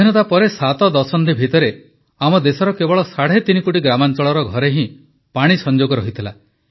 ସ୍ୱାଧୀନତା ପରେ 7 ଦଶନ୍ଧି ଭିତରେ ଆମ ଦେଶର କେବଳ ସାଢ଼େ ତିନି କୋଟି ଗ୍ରାମାଞ୍ଚଳର ଘରେ ହିଁ ପାଣି ସଂଯୋଗ ରହିଥିଲା